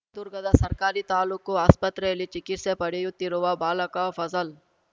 ದುರ್ಗದ ಸರ್ಕಾರಿ ತಾಲೂಕು ಆಸ್ಪತ್ರೆಯಲ್ಲಿ ಚಿಕಿತ್ಸೆ ಪಡೆಯುತ್ತಿರುವ ಬಾಲಕ ಫಜಲ್‌